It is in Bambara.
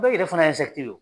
Bɛɛ yɛrɛ fana ye do